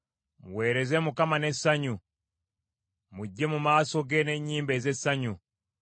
Muweereze Mukama n’essanyu; mujje mu maaso ge n’ennyimba ez’essanyu.